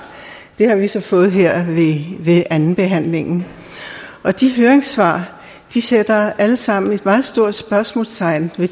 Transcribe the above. det har vi så fået her ved andenbehandlingen de høringssvar sætter alle sammen et meget stort spørgsmålstegn ved